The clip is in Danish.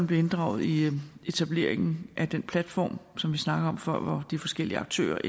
bliver inddraget i etableringen af den platform for de forskellige aktører